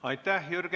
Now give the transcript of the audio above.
Aitäh!